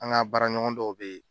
An ka baara ɲɔgɔn dɔw bɛ